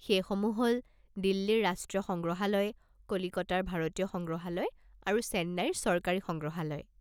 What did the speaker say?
সেইসমূহ হ'ল দিল্লীৰ ৰাষ্ট্ৰীয় সংগ্ৰহালয়, কলিকতাৰ ভাৰতীয় সংগ্ৰহালয় আৰু চেন্নাইৰ চৰকাৰী সংগ্ৰহালয়।